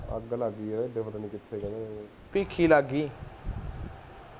ਭੀਖੀ ਲੱਗ ਗਈ